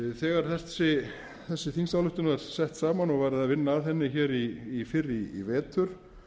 þegar þessi þingsályktun var sett fram og var veriðað vinna að henni hér fyrr í vetur